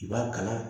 I b'a kala